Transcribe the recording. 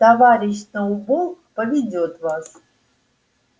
товарищ сноуболл поведёт вас